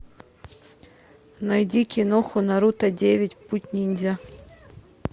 найди киноху наруто девять путь ниндзя